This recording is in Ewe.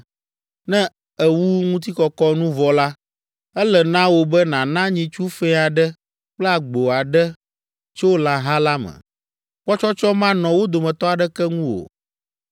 Ne èwu eŋutikɔkɔ nu vɔ la, ele na wò be nàna nyitsu fɛ̃ aɖe kple agbo aɖe tso lãha la me; kpɔtsɔtsɔ manɔ wo dometɔ aɖeke ŋu o.